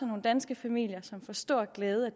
nogle danske familier som får stor glæde